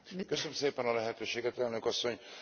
Köszönöm szépen a lehetőséget, Elnök Asszony!